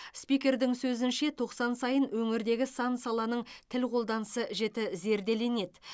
спикердің сөзінше тоқсан сайын өңірдегі сан саланың тіл қолданысы жіті зерделенеді